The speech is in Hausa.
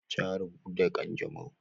Ta rabu da kanjamau.